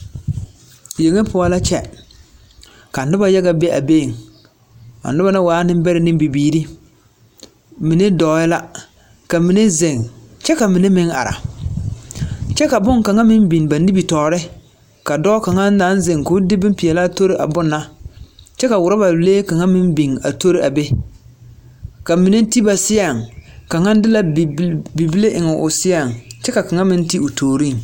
Yeŋe poɔ la kyɛ. Ka noba yaga be a beŋ. A niba na waaɛ nembɛrɛ ne bibiiri. Mine dɔɔɛ la, ka mine zeŋ, kyɛ ka mine meŋ are. kyɛ ka boŋkaŋa meŋ biŋ ba nimitɔɔre ka dɔ2 kaŋa naŋ zeŋ ka o de bompeɛlaa tori a bone na. kyɛ ka uroba lee kaŋa meŋ biŋ a tori a be. Ka mine ti ba seɛŋ. Kaŋa de la bi… bil… bibile eŋo seɛŋ kyɛ ka kaŋa meŋ ti o tooriŋ.